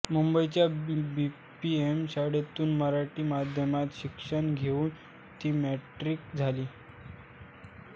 मुंबईच्या B P M शाळेतून मराठी माध्यमात शिक्षण घेऊन ती मॅट्रिक झाली